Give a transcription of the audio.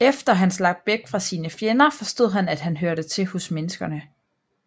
Efter han slap væk fra sine fjender forstod han at han hørte til hos menneskerne